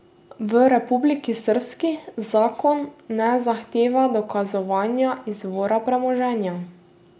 V Republiki Srbski zakon ne zahteva dokazovanja izvora premoženja.